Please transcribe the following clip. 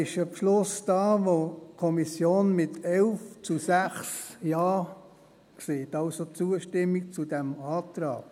Hier ist ein Beschluss vorhanden, dass die Kommission mit 11 zu 6 Ja sagt, also Zustimmung zu diesem Antrag.